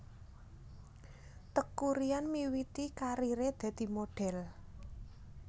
Teuku Ryan miwiti kariré dadi modhél